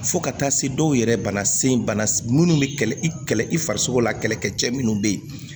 Fo ka taa se dɔw yɛrɛ bana sen bana minnu bɛ kɛlɛ i kɛlɛ i farisoko la kɛlɛkɛ cɛ minnu bɛ yen